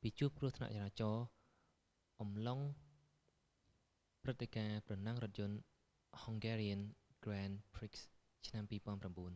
ពីជួបគ្រោះថ្នាក់ចរាចរណ៍អំឡុងព្រឹត្តិការណ៍ប្រណាំងរថយន្ត hungarian grand prix ឆ្នាំ 2009